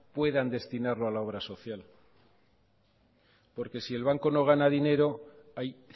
puedan destinarlo a la obra social porque si el banco no gana dinero hay